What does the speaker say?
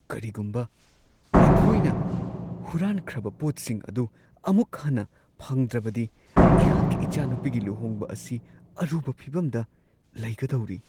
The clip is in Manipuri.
ꯀꯔꯤꯒꯨꯝꯕ ꯑꯩꯈꯣꯏꯅ ꯍꯨꯔꯥꯟꯈ꯭ꯔꯕ ꯄꯣꯠꯁꯤꯡ ꯑꯗꯨ ꯑꯃꯨꯛ ꯍꯟꯅ ꯐꯪꯗ꯭ꯔꯕꯗꯤ, ꯑꯩꯍꯥꯛꯀꯤ ꯏꯆꯥꯅꯨꯄꯤꯒꯤ ꯂꯨꯍꯣꯡꯕ ꯑꯁꯤ ꯑꯔꯨꯕ ꯐꯤꯚꯝꯗ ꯂꯩꯒꯗꯧꯔꯤ ꯫ (ꯁꯤꯇꯤꯖꯟ)